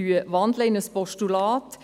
Wir wandeln in ein Postulat.